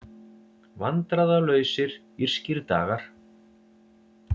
Vandræðalausir írskir dagar